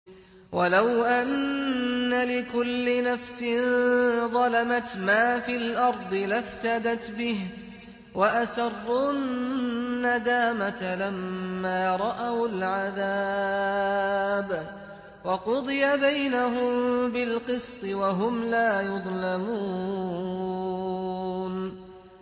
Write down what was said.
وَلَوْ أَنَّ لِكُلِّ نَفْسٍ ظَلَمَتْ مَا فِي الْأَرْضِ لَافْتَدَتْ بِهِ ۗ وَأَسَرُّوا النَّدَامَةَ لَمَّا رَأَوُا الْعَذَابَ ۖ وَقُضِيَ بَيْنَهُم بِالْقِسْطِ ۚ وَهُمْ لَا يُظْلَمُونَ